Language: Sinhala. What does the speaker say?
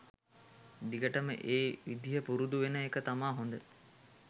දිගටම ඒ විදිය පුරුදු වෙන එක තමා හොද.